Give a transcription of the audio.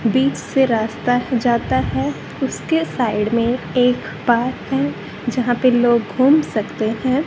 बीच से रास्ता जाता है उसके साइड में एक पार्क है जहां पे लोग घूम सकते हैं।